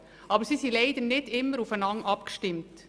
Aber leider sind sie nicht immer gut aufeinander abgestimmt.